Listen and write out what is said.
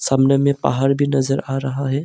सामने में पहाड़ भी नजर आ रहा है।